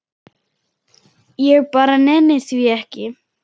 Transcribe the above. Ég bara nenni því ekki.